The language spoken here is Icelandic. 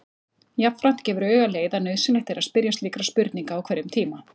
Jafnframt gefur auga leið að nauðsynlegt er að spyrja slíkra spurninga á hverjum tíma.